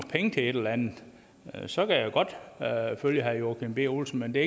penge til et eller andet så kan jeg godt følge herre joachim b olsen men det